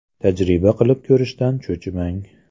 Tajriba qilib ko‘rishdan cho‘chimang!